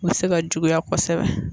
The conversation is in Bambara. U bɛ se ka juguya kosɛbɛ.